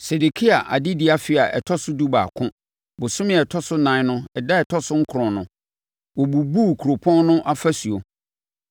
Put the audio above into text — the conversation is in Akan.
Sedekia adedie afe a ɛtɔ so dubaako, bosome a ɛtɔ so ɛnan no da a ɛtɔ so nkron no, wɔbubuu kuropɔn no afasuo.